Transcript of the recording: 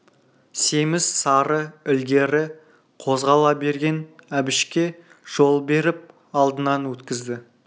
семіз сары ілгері қозғала берген әбішке жол беріп алдынан өткізді